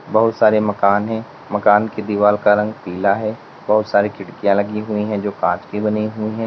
बहुत सारे मकान है मकान की दीवार का रंग पीला है बहुत सारे खिड़कियां लगी हुई है जो कांच की बनी हुई है।